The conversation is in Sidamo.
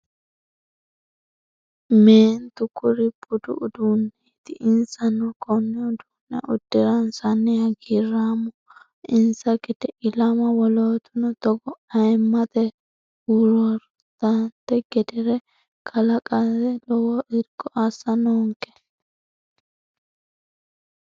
Meentu kuri budu uduuneti insano kone uduune uddiransanni hagiirammaho insa gede ilama wolootuno togo ayimmate hururattano gedere kalqate lowo irko assa noonke.